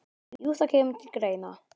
Jú, það kemur til greina.